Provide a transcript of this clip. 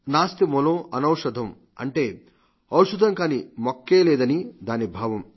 నాస్తిమూలం అనేషధం అంటే ఔషథం కాని మొక్కేలేదని దాని భావం